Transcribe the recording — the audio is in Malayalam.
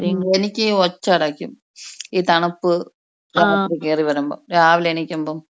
എന്നിക്ക് ഒച്ച അടക്കും ഈ തണുപ്പ് ജനലികൂടി കേറി വരുമ്പോ രാവിലെ എണീക്കുമ്പോ.